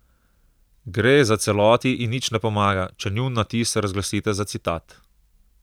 Gre za celoti in nič ne pomaga, če njun natis razglasite za citat.